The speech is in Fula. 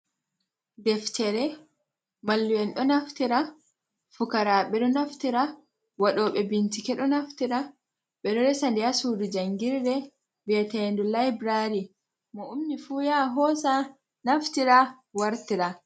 Deftere mallum'en ɗo naftira, fukaraaɓe ɗo naftira, waɗooɓe bincike ɗo naftira, ɓe ɗo resa nde haa suudu janngirde bi'eteendu laybulaari. Mo ummi fu, yaha hoosa naftira, wartira.